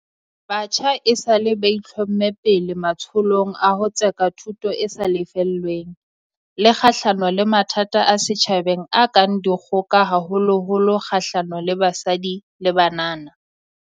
Batjha esale ba itlhomme pele matsholong a ho tseka thuto e sa lefellweng, le kgahlano le mathata a setjhabeng a kang dikgoka haholoholo kgahlano le basadi le banana.